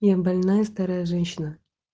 я больная старая женщина